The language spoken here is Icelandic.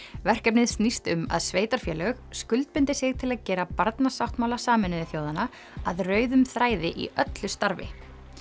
verkefnið snýst um að sveitarfélög skuldbindi sig til að gera Barnasáttmála Sameinuðu þjóðanna að rauðum þræði í öllu starfi